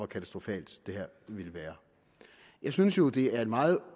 katastrofalt det her ville være jeg synes jo det er meget